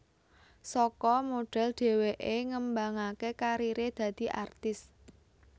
Saka modhel dheweké ngembangaké kariré dadi artis